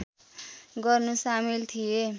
गर्नु सामेल थिए